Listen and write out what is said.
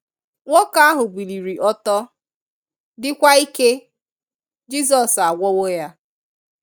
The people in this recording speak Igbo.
Nwoke ahụ biliri ọtọ, dịkwa ike. Jizọs agwọwo ya.